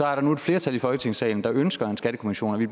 er der nu et flertal i folketingssalen der ønsker en skattekommission og vi